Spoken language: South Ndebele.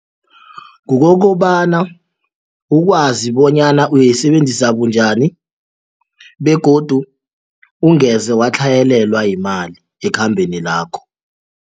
Kukokobana ukwazi bonyana uyisebenzisa bunjani begodu ungeze watlhayelelwa yimali ekhambeni lakho.